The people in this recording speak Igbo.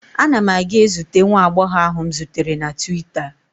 Ana m aga ezute nwa agbọghọ ahụ m zutere na twita.